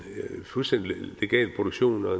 fuldstændig legal produktion og